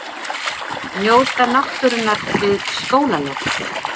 Njóta náttúrunnar við skólalok